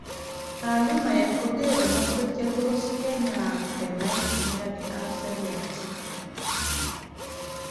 taalumaek kogere mwasweg chetus kenya ak kenai miani ap seriat